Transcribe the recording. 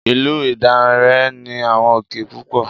Ìlú Ìdànrè ní àwọn òkè púpọ̀.